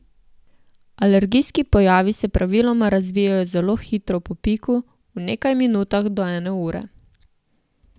Alergijski pojavi se praviloma razvijejo zelo hitro po piku, v nekaj minutah do ene ure.